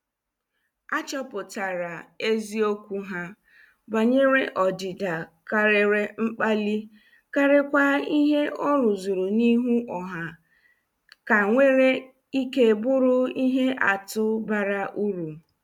A chọpụtara eziokwu ha, banyere ọdịda karịrị mkpali karikwa ihe ọ rụzuru n' ihu ọha, ka nwere ike bụrụ ihe atụ bara uru.